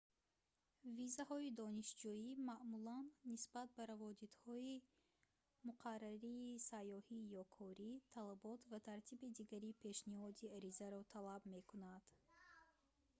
визаҳои донишҷӯӣ маъмулан нисбат ба раводидҳои муқаррарии сайёҳӣ ё корӣ талабот ва тартиби дигари пешниҳоди аризаро талаб мекунад